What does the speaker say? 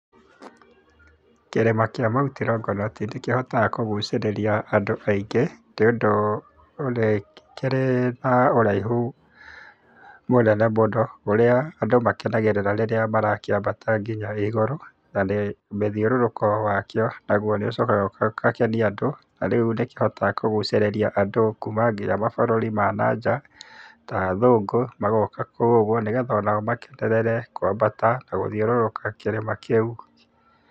Kĩrĩma kĩa mount Longonot nĩkĩhotaga kũgucĩrĩria andũ aingĩ, nĩũndũ nĩkĩrĩ na ũraihu mũnene mũno, ũrĩa andũ makenagĩrĩra rĩrĩa marakĩambata nginya igũrũ ,na mũthiũrũrũko wakio naguo nĩ ũcokaga ũgakenia andũ rĩu nĩkĩhotaga kũgũcĩrĩrĩa andũ nginya kuma mabũrũri ma nanja ,na athũngũ magoka kũu ũguo nĩguo onao makenerere kwambata na gũthiũrũrũka kĩrĩma kĩu.